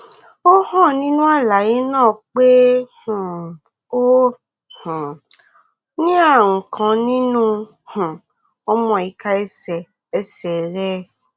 ó hàn nínú àlàyé náà pé um o um ní ààrùn kan nínú um ọmọ ìka ẹsẹ ẹsẹ rẹ